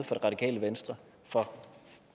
det radikale venstre for